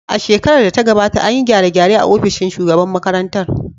A shekarar da ta gabata, an yi gyare-gyare a ofishin shugaban makarantar